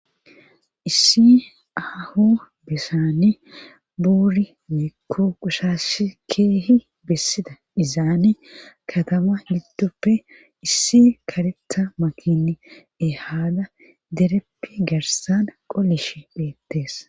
Issi aaho besani buuri neekko qushash keehi bessida dizaane katama yiddoppe issi karetha makin ehaada dereppi garsan qolish beettees.